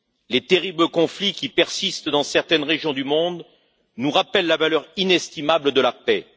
Les terribles conflits qui persistent dans certaines régions du monde nous rappellent la valeur inestimable de la paix.